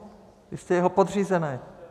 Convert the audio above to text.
Vy jste jeho podřízený.